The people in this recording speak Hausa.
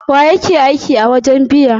Wa yake aiki a wajen biya?